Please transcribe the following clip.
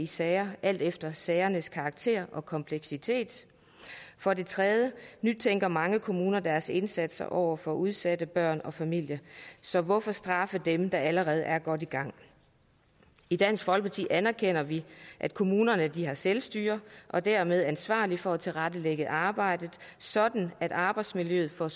sager alt efter sagernes karakter og kompleksitet for det tredje nytænker mange kommuner deres indsatser over for udsatte børn og familier så hvorfor straffe dem der allerede er godt i gang i dansk folkeparti anerkender vi at kommunerne har selvstyre og dermed er ansvarlige for at tilrettelægge arbejdet sådan at arbejdsmiljøet for